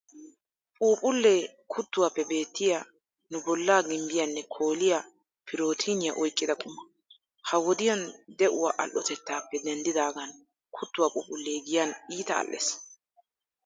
Puphphullee kuttuwaappe beettiya, nu bollaa gimbbiyaanne kooliya pirootiiniya oyqqida quma. Ha wodiyan de"uwaa al'otettaappe denddaagan kuttuwaa phuphphullee giyan iita al"ees.